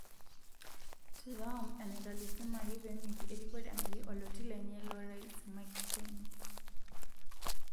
Trump enataelasimaki penguki erikore anguki oloti lenye lo rais Mike Pence.